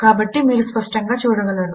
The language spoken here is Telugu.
కాబట్టి మీరు స్పష్టంగా చూడగలరు